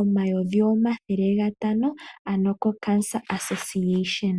omayovi omathele gatano ano koCancer Association.